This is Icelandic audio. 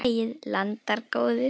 Tökum lagið, landar góðir.